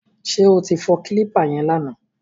Ṣé o ti fọ kílípà yẹn lánàá?